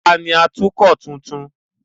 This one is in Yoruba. Ta ni atukọ̀ tuntun?